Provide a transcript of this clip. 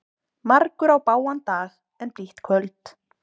Margur á bágan dag en blítt kvöld.